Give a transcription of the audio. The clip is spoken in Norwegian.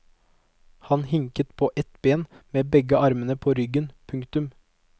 Han hinket på ett ben med begge armene på ryggen. punktum